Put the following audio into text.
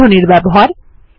বন্ধনীর ব্যবহার